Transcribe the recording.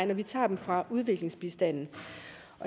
men vi tager dem fra udviklingsbistanden